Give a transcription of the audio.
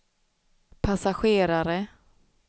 passagerare